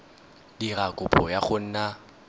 dira kopo ya go nna